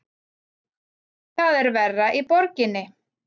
Það er verra í borginni.